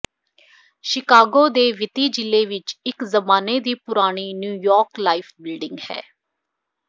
Chicago ਦੇ ਵਿੱਤੀ ਜ਼ਿਲ੍ਹੇ ਵਿੱਚ ਇਕ ਜਮਾਨੇ ਦੀ ਪੁਰਾਣੀ ਨਿਊਯਾਰਕ ਲਾਈਫ ਬਿਲਡਿੰਗ ਹੈ